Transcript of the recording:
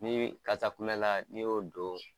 Ni bɛ kasa kulɛla n'i y'o don